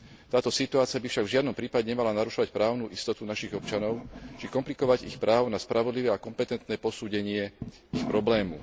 Táto situácia by však v žiadnom prípade nemala narušovať právnu istotu našich občanov či komplikovať ich právo na spravodlivé a kompetentné posúdenie ich problému.